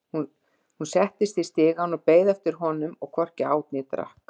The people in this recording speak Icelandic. Hún settist í stigann og beið eftir honum,- og hvorki át né drakk.